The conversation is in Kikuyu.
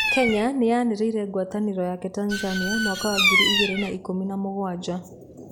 Kenya nĩ yaninire ngwatanĩro yake Tanzania mwaka wa ngiri igĩrĩ na ikũmi na mũgwanja.